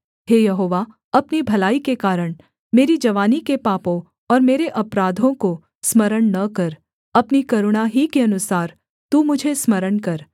हे यहोवा अपनी भलाई के कारण मेरी जवानी के पापों और मेरे अपराधों को स्मरण न कर अपनी करुणा ही के अनुसार तू मुझे स्मरण कर